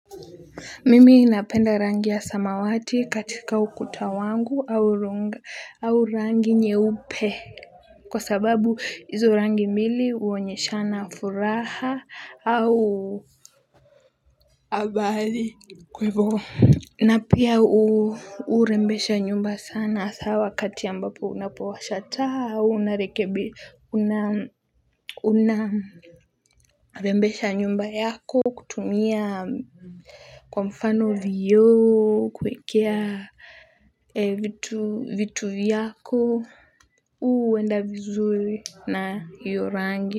Mimi napenda rangi ya samawati katika ukuta wangu. Au rangi nyeupe kwa sababu hizo rangi mbili huonyeshana furaha au habari kwa hivo na pia hurembesha nyumba sana hasa wakati ambapo unapowasha taa unarekebi unarembesha nyumba yako kutumia kwa mfano vioo, kuwekea vitu vyako, huenda vizuri na hiyo rangi.